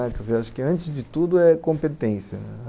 Acho que antes de tudo é competência.